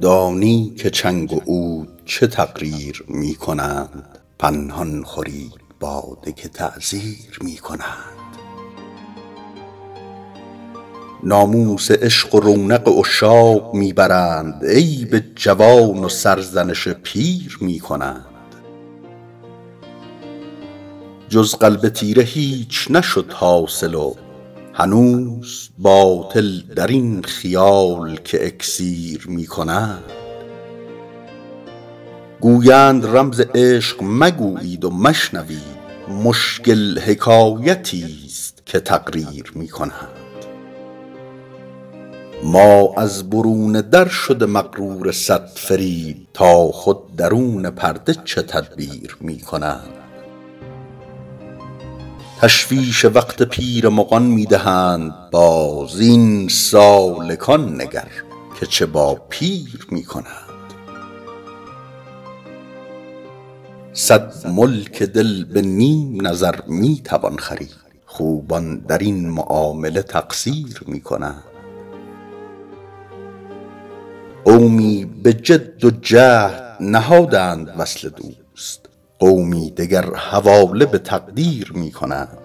دانی که چنگ و عود چه تقریر می کنند پنهان خورید باده که تعزیر می کنند ناموس عشق و رونق عشاق می برند عیب جوان و سرزنش پیر می کنند جز قلب تیره هیچ نشد حاصل و هنوز باطل در این خیال که اکسیر می کنند گویند رمز عشق مگویید و مشنوید مشکل حکایتیست که تقریر می کنند ما از برون در شده مغرور صد فریب تا خود درون پرده چه تدبیر می کنند تشویش وقت پیر مغان می دهند باز این سالکان نگر که چه با پیر می کنند صد ملک دل به نیم نظر می توان خرید خوبان در این معامله تقصیر می کنند قومی به جد و جهد نهادند وصل دوست قومی دگر حواله به تقدیر می کنند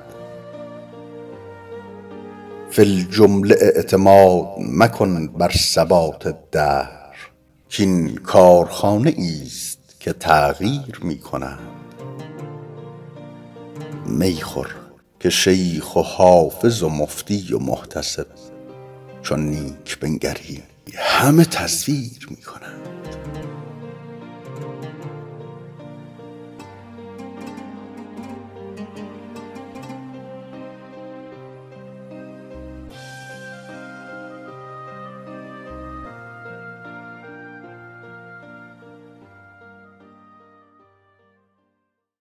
فی الجمله اعتماد مکن بر ثبات دهر کـ این کارخانه ایست که تغییر می کنند می خور که شیخ و حافظ و مفتی و محتسب چون نیک بنگری همه تزویر می کنند